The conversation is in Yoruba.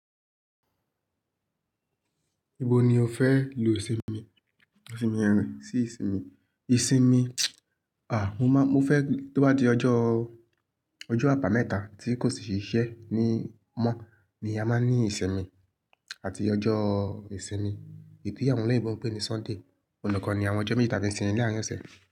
Ibo ni o fẹ lo ìsinmi? Ìsinmi rẹ sí ìsinmi. Ìsinmi, à, mo má mo fẹ tó bá di ọjọ́, ọjọ́ àbámẹ́ta tí kò sì íṣe ní mọ́ ni a máa ní ìsinmi àti ọjọ́ ìsinmi, iyi ti awọn eleyinbo pé ní Sunday. Olùkọ́ ni àwọn ọjọ́ méta sì ni láàárín ọ̀sẹ̀.